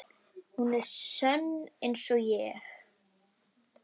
Hún er sönn einsog ég.